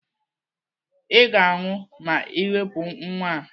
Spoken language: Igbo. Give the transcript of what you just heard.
Ị ga-anwụ ma Ị wepụ nwa a!